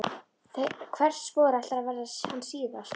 Hvert spor ætlar að verða hans síðasta.